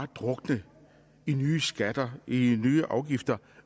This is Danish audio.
drukne i nye skatter nye afgifter